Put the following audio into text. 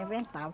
Inventava.